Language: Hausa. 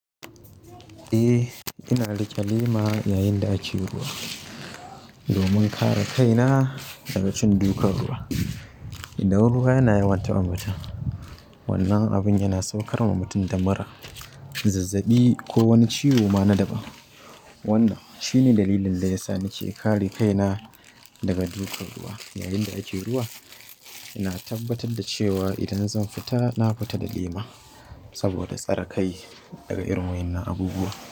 Eh, ina riƙe lema yayin da ake ruwa domin kare kai na dag cin dukan ruwa idan ruwa yana yawan taɓa mutum, wannan abun yana saukar wa mutum da mura, zazzaɓi ko wani ciwo ma na daɓa. Eh, ina riƙe lema yayin da ake ruwa ina tabbatar da cewa idan zan fita, na fita da lema saboda tsare kai daga irin waɗannan abubuwa.